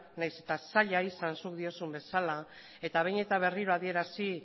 nahiz eta zaila izan zuk diozun bezala eta behin eta berriro adierazi